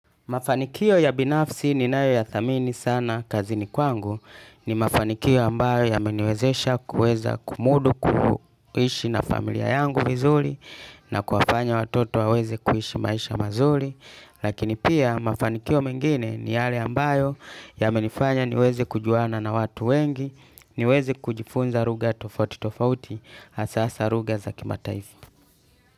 Mafanikio ya binafsi ni nayo ya thamini sana kazini kwangu ni mafanikio ambayo yameniwezesha kuweza kumudu kuishi na familia yangu vizuri na kuwafanya watoto waweze kuishi maisha mazuri. Lakini pia mafanikio mengine ni yale ambayo yamenifanya niweze kujuana na watu wengi niweze kujifunza lugha tofauti tofauti hasa hasa lugha za kimataifa.